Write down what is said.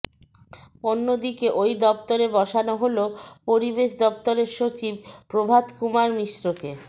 অন্য দিকে ওই দফতরে বসানো হলো পরিবেশ দফতরের সচিব প্রভাত কুমার মিশ্রকে